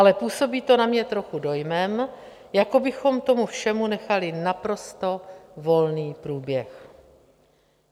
Ale působí to na mě trochu dojmem, jako bychom tomu všemu nechali naprosto volný průběh.